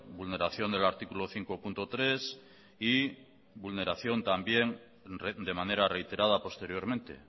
vulneración del artículo cinco punto tres y vulneración también de manera reiterada posteriormente